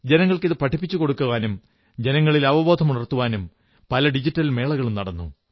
ജനങ്ങൾക്ക് ഇത് പഠിപ്പിച്ചു കൊടുക്കാനും ജനങ്ങളിൽ അവബോധമുണർത്താനും പല ഡിജിധൻ മേളകളും നടന്നു